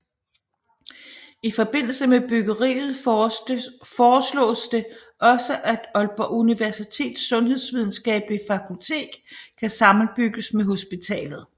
I forbindelse med byggeriet foreslås det også at Aalborg Universitets Sundhedsvidenskabelige Fakultet kan sammenbygges med hospitalet